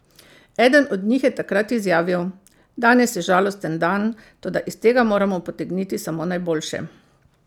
Eden od njih je takrat izjavil: "Danes je žalosten dan, toda iz tega moramo potegniti samo najboljše.